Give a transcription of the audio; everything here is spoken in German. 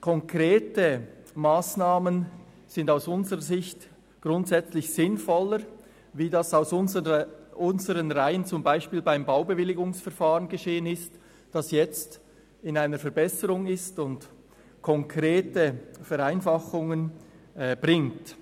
Konkrete Massnahmen sind aus unserer Sicht grundsätzlich sinnvoller, wie dies aus unseren Reihen beispielsweise beim Baubewilligungsverfahren geschehen ist, das sich jetzt in einer Verbesserung befindet und konkrete Vereinfachungen bringt.